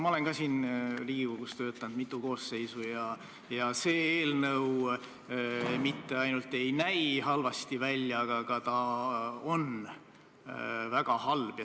Ma olen siin Riigikogus töötanud mitu koosseisu ja see eelnõu mitte ainult ei näi halb, vaid ta ka on väga halb.